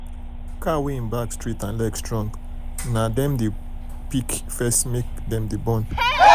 cow wey en back straight and leg strong um na um dem we dey pick um first make dem de born pikin.